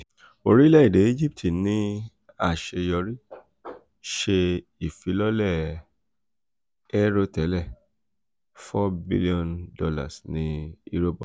orile-ede egypt ni aṣeyọri ṣe ifilọlẹ 'airotẹlẹ' $ 4 bilionu ni eurobonds